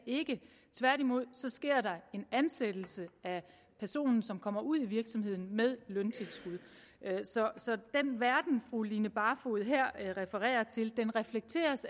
tværtimod så sker der en ansættelse af personen som kommer ud i virksomheden med løntilskud så den verden fru line barfod her refererer til reflekteres